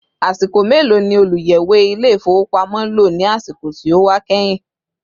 Asiko melo ni oluyẹwe Ilé-ifowopamo lọ ní àsìkò tí ó wà kehin